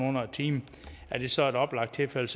under en time er det så et oplagt tilfælde